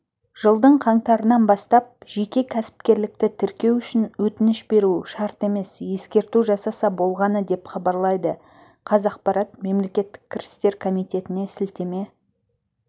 жылдың қаңтарынан бастап жеке кәсіпкерлікті тіркеу үшін өтініш беру шарт емес ескерту жасаса болғаны деп хабарлайды қазақпарат мемлекеттік кірістер комитетіне сілтеме